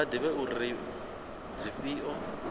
vha ḓivhe uri ndi dzifhio